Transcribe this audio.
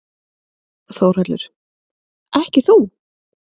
Þórhallur: Ekki þú?